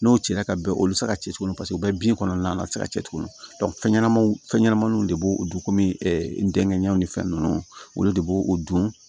N'o cira ka bɛn o bɛ se ka cɛ tuguni o bɛɛ bɛ bin kɔnɔna na a bɛ se ka cicogo fɛn ɲɛnamaw fɛnɲɛnamaninw de b'o o dun kɔmi ntɛnɛnw ni fɛn ninnu olu de b'o o don